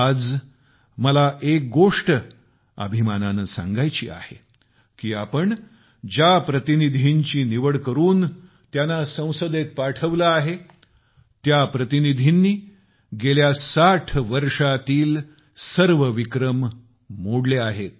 आज मला एक गोष्ट अभिमानाने सांगायची आहे की आपण ज्या प्रतिनिधींची निवड करुन त्यांना संसदेत पाठविले आहे त्या प्रतिनिधींनी गेल्या 60 वर्षातील सर्व विक्रम मोडले आहेत